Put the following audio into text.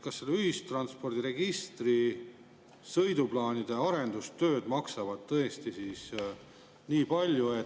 Kas need ühistranspordiregistri sõiduplaanide arendustööd maksavad tõesti nii palju?